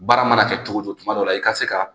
Baara mana kɛ cogo cogo tuma dɔw la i ka se ka